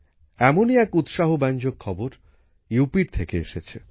এমনই এক উৎসাহব্যঞ্জক খবর উত্তরপ্রদেশের থেকে এসেছে